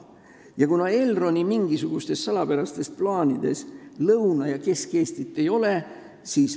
Ja Elroni mingisugustes salapärastes plaanides Lõuna- ja Kesk-Eestit ei ole.